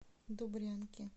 добрянки